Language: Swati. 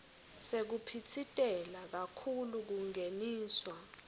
sekuphitsitela kakhulu kungeniswa